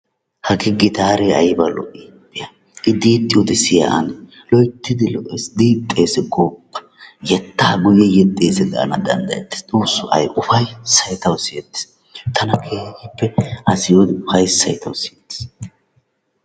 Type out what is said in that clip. Hagee gitaaree ayba lo"ii! be'a i diixxiyoode siya ane! loyttidi lo"ees diixxees gooppa yeettaa yeexxees gaana dandayettees. Xoossoo ayba upayssay tawu siyyettees. tana a siiyiyoode upayssay tawu siyettees.